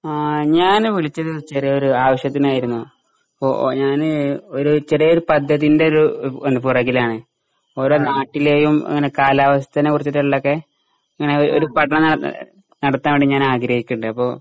ആ ഞാന് വിളിച്ചത് ചെറിയ ഒരു ആവശ്യത്തിന് ആയിരുന്നു. ഇപ്പോ ഞാന് ഒരു ചെറിയ ഒരു പദ്ധതിന്റെ ഒരു പുറകിലാണ് ഓരോ നാട്ടിലെയും ഇങ്ങനെ കലാവസ്ഥനെ കുറിച്ചിട്ടുള്ളതൊക്കെ ഇങ്ങനെ ഒരു പഠനം നടത്താൻ വേണ്ടി ഞാൻ ആഗ്രഹിക്കുന്നുണ്ട് അപ്പോ